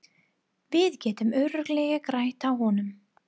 Við getum örugglega grætt á honum.